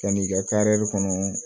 Yan'i ka kɔnɔ